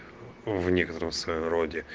в некотором своё роде